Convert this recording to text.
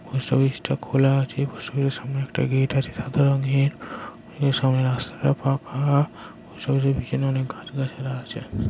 Post অফিসটা খোলা আছে পোষ্ট অফিসের সামনে একটা গেট আছে সাদা রঙের এ সামনে রাস্তাটা ফাঁকা। পোষ্ট অফিসের পিছনে অনেক গাছ গাছরা আছে।